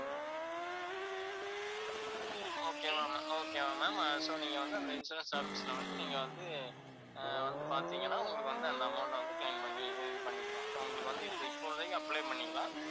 okay ma'am, okay வா ma'am. so நீங்க வந்து அந்த insurance office ல வந்து நீங்க வந்து, வந்து பாத்தீங்கன்னா உங்களுக்கு வந்து அந்த amount அ வந்து claim பண்ணி இது பண்ணிக்கலாம். உங்களுக்கு வந்து இப்போதைக்கு apply பண்ணிக்கலாம்.